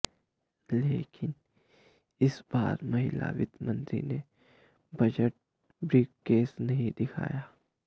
लेकिन इस बार महिला वित्त मंत्री ने बजट ब्रीफकेस नहीं दिखाया